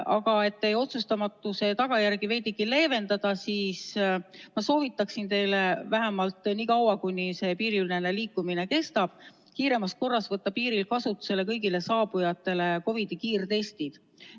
Aga et teie otsustamatuse tagajärgi veidigi leevendada, siis ma soovitaksin teile vähemalt nii kaua, kuni see piiriülene liikumine kestab, kiiremas korras võtta piiril kasutusele kõigile saabujatele COVID-i kiirtestid.